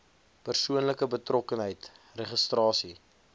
persoonlike betrokkenheid registrasie